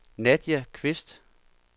Nadia Kvist